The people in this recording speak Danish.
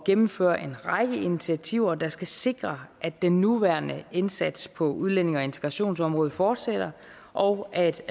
gennemføre en række initiativer der skal sikre at den nuværende indsats på udlændinge og integrationsområdet fortsætter og at